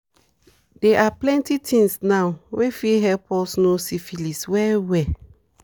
they are plenty things now were f fit help us know syphilis well well